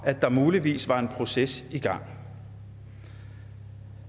at der muligvis var en proces i gang